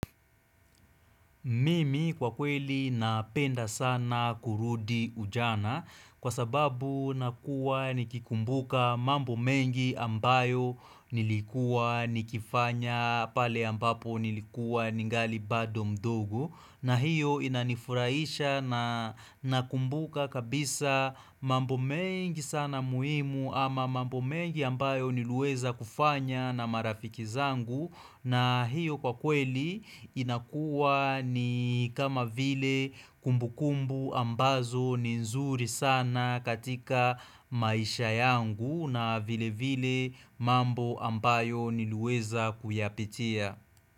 Mimi kwa kweli napenda sana kurudi ujana kwa sababu nakuwa nikikumbuka mambo mengi ambayo nilikua nikifanya pale ambapo nilikua ningali bado mdogo na hiyo inanifuraisha na kumbuka kabisa mambo mengi sana muimu ama mambo mengi ambayo nilueza kufanya na marafiki zangu na hiyo kwa kweli inakua ni kama vile kumbu kumbu ambazo ni nzuri sana katika maisha yangu na vile vile mambo ambayo nilueza kuyapitia.